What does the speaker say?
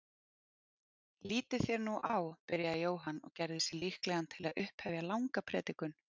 Lítið þér nú á, byrjaði Jóhann og gerði sig líklegan til að upphefja langa predikun.